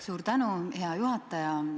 Suur tänu, hea juhataja!